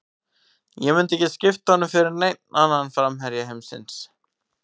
Ég myndi ekki skipta honum fyrir neinn annan framherja heimsins.